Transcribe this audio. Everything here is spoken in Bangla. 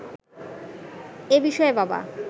এ বিষয়ে বাবা